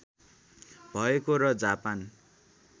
भएको र जापानी